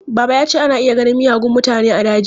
Baba ya ce ana iya ganin miyagun mutane a daji.